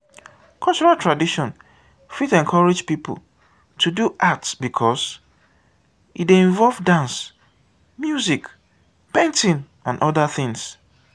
cultural tradition fit encourage pipo to do art because e dey involve dance music painting and oda things